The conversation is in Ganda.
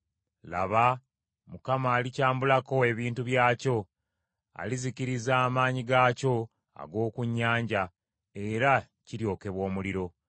Laba, Mukama alikyambulako ebintu byakyo, alizikiriza amaanyi gaakyo ag’oku nnyanja, era kiryokebwa omuliro.